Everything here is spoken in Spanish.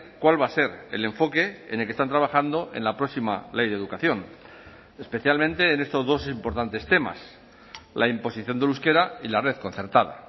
cuál va a ser el enfoque en el que están trabajando en la próxima ley de educación especialmente en estos dos importantes temas la imposición del euskera y la red concertada